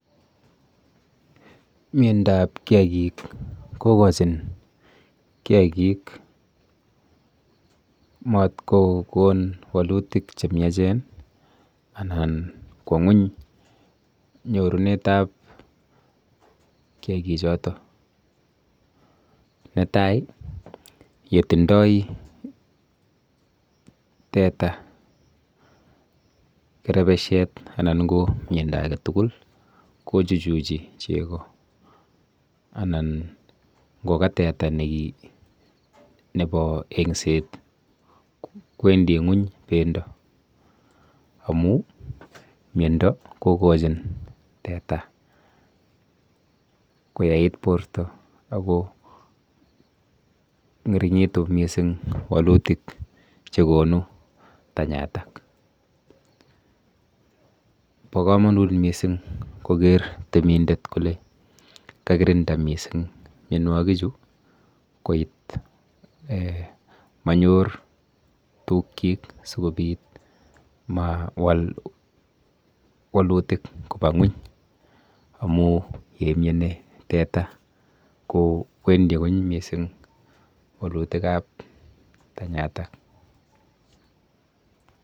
Miendoap kiakik kokochin kiakik mat kokon wolutyik chemiachen anan kwo ng'uny nyorunetap kiakichoto. Netai yetindoi teta kerepeshet anan ko miendo aketugul kochuchuchi chego anan ngo ka teta neki nepo engset kwendi ng'uny bendo amu miendo kokochin teta koyait borto akong'ering'itu mising wolutik chekonu tanyatak. po komonut mising koker temindet kole kakirinda mising mienwokichu koit um manyor tukchok sikobit mawal wolutik kopa ng'uny amu yeimieni teta kowendi ng'uny mising wolutikap tanyatak.